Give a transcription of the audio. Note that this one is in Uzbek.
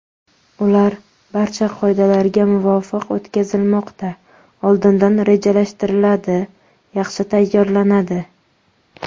Ular barcha qoidalarga muvofiq o‘tkazilmoqda: oldindan rejalashtiriladi, yaxshi tayyorlanadi.